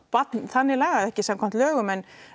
barn þannig lagað ekki samkvæmt lögum en